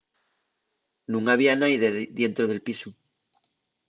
nun había naide dientro del pisu